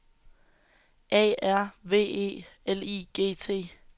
A R V E L I G T